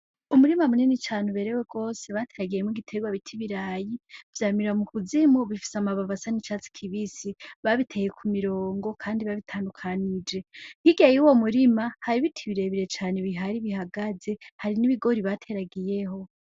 Umurima munini cane uberewe rwose bateragiyemwo igiterwa bita ibirayi. Vyamira mu kuzimu, bifise amababi asa n'icatsi kibisi. Babiteye ku mirongo kandi babitandukanije. Hirya y'uwo murima, hari ibiti birebire cane bihari bihagaze, hari n'ibigori bateragiyeho.